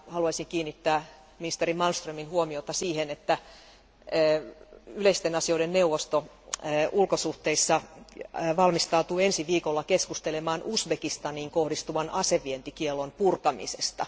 Haluaisin kiinnittää ministeri Malmströmin huomiota siihen, että yleisten asioiden neuvosto ulkosuhteissa valmistautuu ensi viikolla keskustelemaan Uzbekistaniin kohdistuvan aseidenvientikiellon purkamisesta.